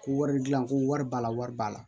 Ko wari dilan ko wari b'a la wari b'a la